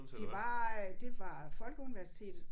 Det var øh det var Folkeuniversitet